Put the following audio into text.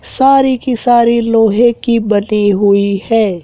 सारी की सारी की लोहे की बनी हुई है।